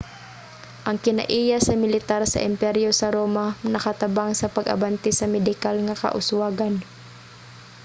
ang kinaiya sa militar sa emperyo sa roma nakatabang sa pag-abante sa medikal nga kauswagan